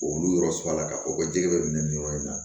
Olu yɔrɔ sɔrɔ la k'a fɔ ko jɛgɛ bɛ minɛ nin yɔrɔ in na